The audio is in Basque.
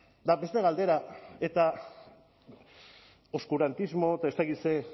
eta beste galdera eta oskurantismo eta ez dakit zer